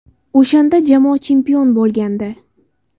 O‘shanda jamoa chempion bo‘lgandi.